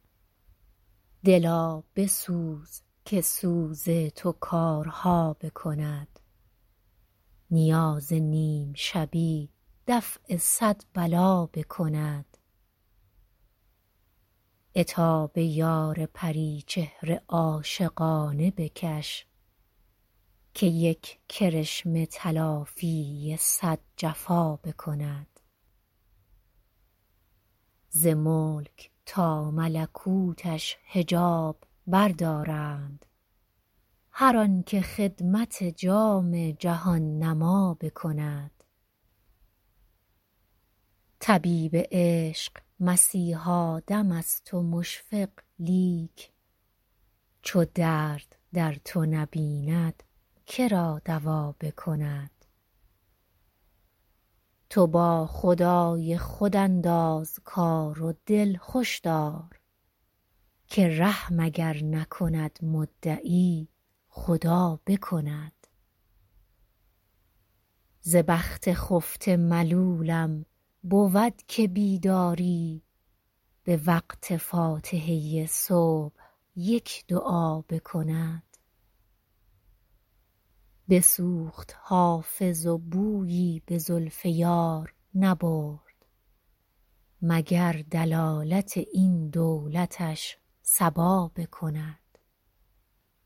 دلا بسوز که سوز تو کارها بکند نیاز نیم شبی دفع صد بلا بکند عتاب یار پری چهره عاشقانه بکش که یک کرشمه تلافی صد جفا بکند ز ملک تا ملکوتش حجاب بردارند هر آن که خدمت جام جهان نما بکند طبیب عشق مسیحا دم است و مشفق لیک چو درد در تو نبیند که را دوا بکند تو با خدای خود انداز کار و دل خوش دار که رحم اگر نکند مدعی خدا بکند ز بخت خفته ملولم بود که بیداری به وقت فاتحه صبح یک دعا بکند بسوخت حافظ و بویی به زلف یار نبرد مگر دلالت این دولتش صبا بکند